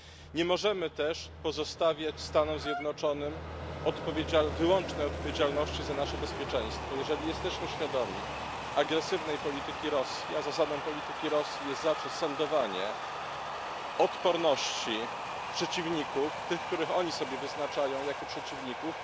Nie możemy też pozostawiać Stanom Zjednoczonym wyłącznej odpowiedzialności za nasze bezpieczeństwo, jeżeli jesteśmy świadomi agresywnej polityki Rosji, a zasadą polityki Rosji jest zawsze sondowanie odporności przeciwników tych, których oni sobie wyznaczają jako przeciwników.